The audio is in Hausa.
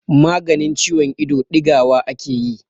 maganin ciwon ido digawa ake yi